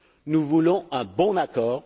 budget. Nous voulons un bon